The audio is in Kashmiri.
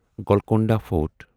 گولکونڈا فورٹ